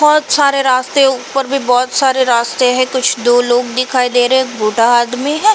बहोत (बहुत) सारे रास्ते है ऊपर भी बहोत (बहुत) सारे रास्ते है। कुछ दो लोग दिखाई दे रहे हे। एक बूढ़ा आदमी है।